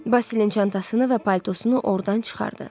Basilinin çantasını və paltosunu ordan çıxartdı.